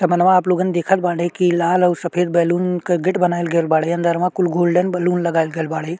समनवा आप लोगन देखता बाड़े की लाल और सफ़ेद बैलून के गेट बनायल गईल बाड़े अंदरवा कुल गोल्डन बैलून लगायल गईल बाड़े।